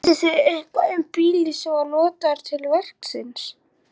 Vitið þið eitthvað um bílinn sem var notaður til verksins?